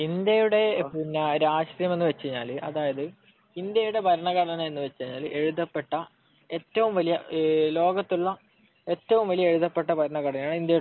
ഇന്ത്യയുടെ രാഷ്ട്രീയം എന്നുവച്ചാൽ ഇന്ത്യയുടെ ഭരണഘടനാ എന്നുവച്ചാൽ എഴുതപ്പെട്ട ലോകത്തുള്ള എഴുതപ്പെട്ടിട്ടുള്ള ഏറ്റവും വലിയ ഭരണ ഘടനയാണ് ഇന്ത്യയുടേത്